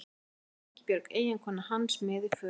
Oftast var Ingibjörg eiginkona hans með í för.